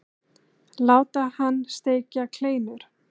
Láta hann steikja kleinur.